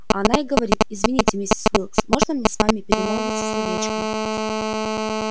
а она и говорит извините миссис уилкс можно мне с вами перемолвиться словечком